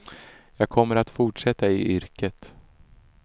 Jag kommer att fortsätta i yrket.